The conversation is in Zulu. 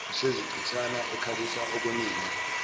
usezichitshana ekhalisa okwenina